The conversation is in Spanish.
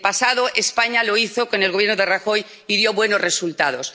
En el pasado España lo hizo con el Gobierno de Rajoy y dio buenos resultados.